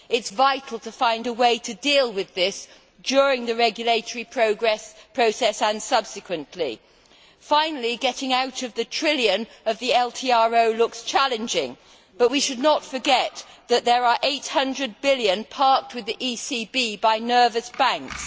It is vital to find a way to deal with this during the regulatory process and subsequently. Finally, getting out of the trillion of the LTRO looks challenging, but we should not forget that there are EUR 800 billion parked with the ECB by nervous banks.